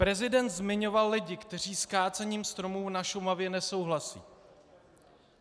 Prezident zmiňoval lidi, kteří s kácením stromů na Šumavě nesouhlasí.